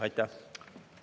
Aitäh!